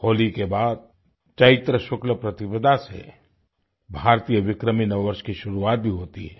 होली के बाद चैत्र शुक्लप्रतिपदा से भारतीय विक्रमी नववर्ष की शुरुआत भी होती है